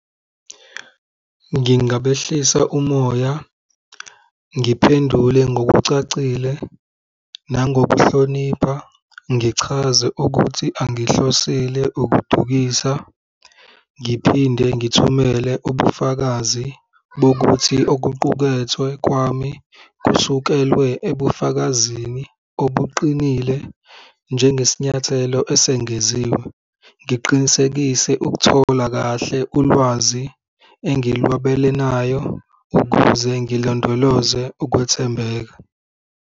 Ngingabehlisa umoya, ngiphendule ngokucacile nangokuhlonipha ngichaze ukuthi angihlosile ukudukisa, ngiphinde ngithumele ubufakazi bokuthi okuqukethwe kwami kusukelwe ebufakazini obuqinile, njengesinyathelo esengeziwe, ngiqinisekise ukuthola kahle ulwazi engilwabelenayo ukuze ngilondoloze ukwethembeka.